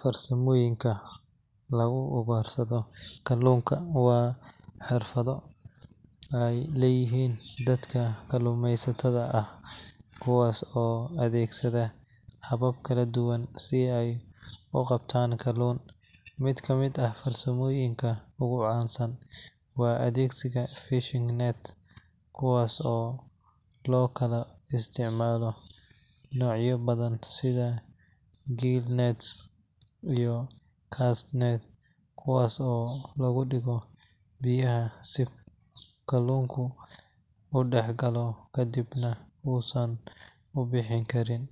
Farsamooyinka lagu ugaarsado kalluunka waa xirfado ay leeyihiin dadka kalluumaysatada ah, kuwaas oo adeegsada habab kala duwan si ay u qabtaan kalluun. Mid ka mid ah farsamooyinka ugu caansan waa adeegsiga fishing nets, kuwaas oo loo kala isticmaalo noocyo badan sida gill nets iyo cast nets kuwaas oo lagu dhigo biyaha si kalluunka u dhex galo kadibna uusan u bixin karin.